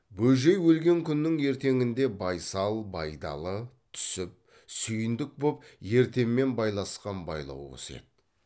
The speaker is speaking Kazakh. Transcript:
бөжей өлген күннің ертеңінде байсал байдалы түсіп сүйіндік боп ертемен байласқан байлау осы еді